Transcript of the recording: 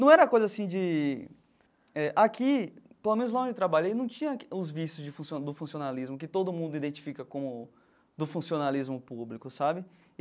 Não era coisa assim de eh... Aqui, pelo menos lá onde eu trabalhei, não tinha os vícios de funcio do funcionalismo, que todo mundo identifica como do funcionalismo público, sabe?